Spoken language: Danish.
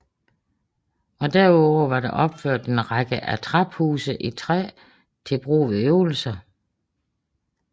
Derudover er der opført en række attraphuse i træ til brug ved øvelser